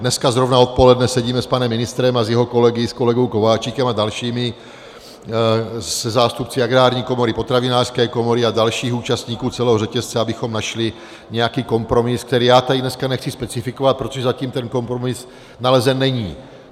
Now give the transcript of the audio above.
Dneska zrovna odpoledne sedíme s panem ministrem a s jeho kolegy, s kolegou Kováčikem a dalšími, se zástupci Agrární komory, Potravinářské komory a dalších účastníků celého řetězce, abychom našli nějaký kompromis, který já tady dneska nechci specifikovat, protože zatím ten kompromis nalezen není.